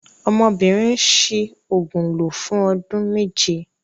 Ọmọbìnrin ń ṣi òògùn lò fún ọdún méje.